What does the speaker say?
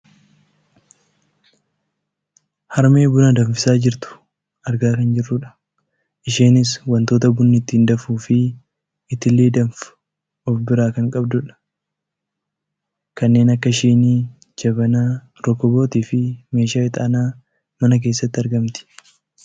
Harmee buna danfisaa jirtu argaa kan jirrudha. Isheenis wantoota bunni ittiin danfufi ittiillee danfu of biraa kan qabdudha. Kanneen akka shinii , jabanaa, rakabootii fi meeshaa ixaanaadha. Mana keessatti argamti.